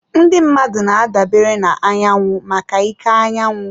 Ndị mmadụ na-adabere na anyanwụ maka ike anyanwụ.